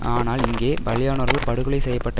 ஆனால் இங்கே பலியானோர்கள் படுகொலை செய்ய பட்ட